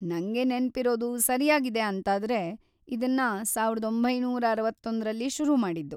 ನಂಗೆ ‌ನೆನ್ಪಿರೋದು ಸರ್ಯಾಗಿದೆ ಅಂತಾದ್ರೆ ಇದ್ನ ಸಾವಿರದ ಒಂಬೈನೂರ ಅರವತ್ತೊಂದರಲ್ಲಿ ಶುರು ಮಾಡಿದ್ದು.